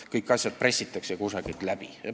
Kõik asjad pressitakse kusagilt läbi.